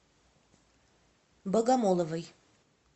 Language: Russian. богомоловой